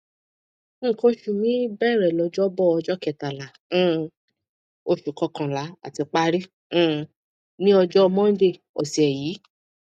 nkan osu mi bẹrẹ lọjọbọ ọjọ kẹtàlá um oṣù kọkànlá àti parí um ní ọjọ mọndé ọsẹ yìí